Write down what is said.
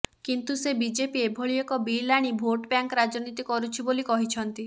କିନ୍ତୁ ସେ ବିଜେପି ଏଭଳି ଏକ ବିଲ୍ ଆଣି ଭୋଟ ବ୍ୟାଙ୍କ ରାଜନୀତି କରୁଛି ବୋଲି କହିଛନ୍ତି